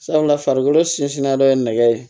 Sabula farikolo sinsinnen dɔ ye nɛgɛ ye